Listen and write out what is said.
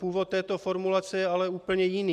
Původ této formulace je ale úplně jiný.